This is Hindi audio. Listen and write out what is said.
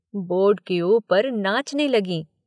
बोर्ड के ऊपर नाचने लगीं।